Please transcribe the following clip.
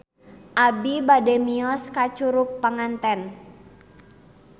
Abi bade mios ka Curug Panganten